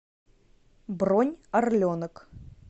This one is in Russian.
бронь орленок